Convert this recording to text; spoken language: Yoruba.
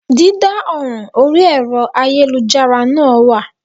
Dídá ọ̀ràn orí ẹ̀rọ ayélujára náà wà